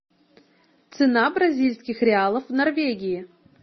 цена бразильских реалов в норвегии